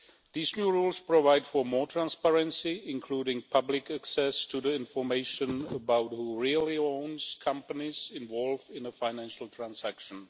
These new rules provide for more transparency, including public access to the information about who really owns the companies involved in a financial transaction.